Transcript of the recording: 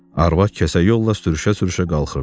Arvad kəsə yolla sürüşə-sürüşə qalxırdı.